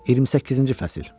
28-ci fəsil.